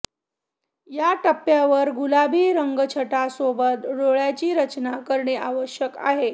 या टप्प्यावर गुलाबी रंगछटांसोबत डोळ्यांची रचना करणे आवश्यक आहे